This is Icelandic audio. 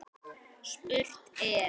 Spurt er?